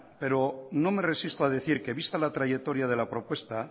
pero no me resisto a decir que vista la trayectoria de la propuesta